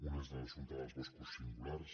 un és l’assumpte dels boscos singulars